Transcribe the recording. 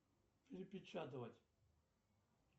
перепечатывать